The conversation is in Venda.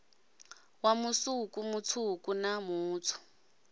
wa musuku mutswuku na mutswu